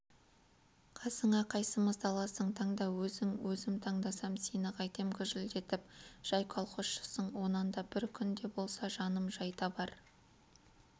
қасыңа қайсымызды аласың таңда өзің өзім таңдасам сені қайтем гүжілдетіп жай колхозшысың онан да бір күн де болса жаным жай табар